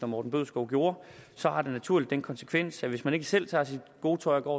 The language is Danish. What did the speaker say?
morten bødskov gjorde så naturligt har den konsekvens hvis man ikke selv tager sit gode tøj og går